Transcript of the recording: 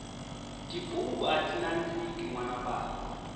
tibuku ati nandziki nwana bava